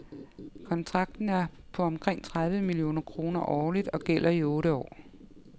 Kontrakten er på omkring tredive millioner kroner årligt og gælder i otte år.